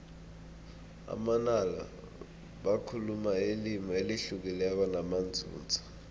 amanala bakhuluma ilimi elihlukileko namanzunza